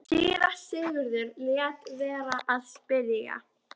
Síra Sigurður lét vera að spyrja.